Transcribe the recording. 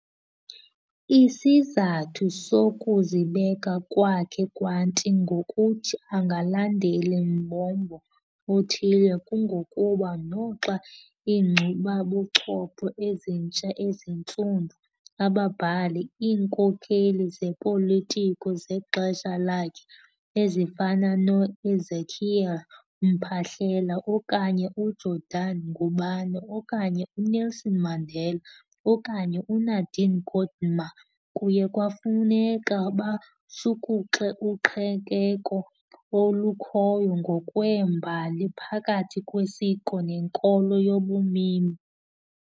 Isizathu sokuzibeka kwakhe kwanti ngokuthi angalandeli mbombo uthile kungokuba noxa iinkcubabuchopho eZintsha eziNtsundu, ababhali, iinkokheli zopolitiko zexesha lakhe, ezifana noEzekiel Mphahlele okanye uJordan Ngubane okanye uNelson Mandela okanye uNadine Gordimer kuye kwafuneka bashukuxe uqhekeko olukhoyo ngokwembali phakathi kwesiko nenkolo yabumini.